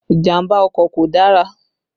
Ìjàmbá ọkọ̀ kò dára